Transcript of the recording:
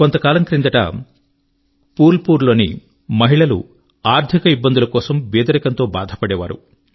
కొంత కాలం క్రిందట ఫుల్ పూర్ లోని మహిళలు ఆర్థిక ఇబ్బందులు మరియు బీదరికం తో బాధపడేవారు